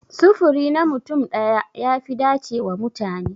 Sufuri na mutum daya ya fi dace wa mutane.